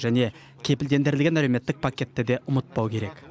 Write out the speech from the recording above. және кепілдендірілген әлеуметтік пакетті де ұмытпау керек